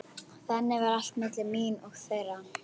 Þannig var allt milli mín og þeirra.